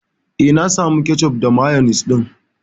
Eh, na samu kecof da mayonis ɗin.